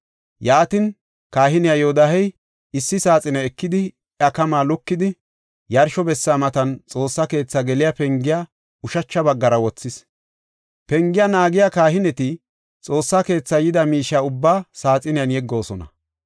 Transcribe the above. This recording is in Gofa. Yaatin, kahiniya Yoodahey issi saaxine ekidi, iya kamaa lukidi, yarsho bessa matan Xoossa keethi geliya pengiya ushacha baggara wothis. Pengiya naagiya kahineti Xoossa keetha yida miishiya ubbaa saaxiniyan yeggoosona.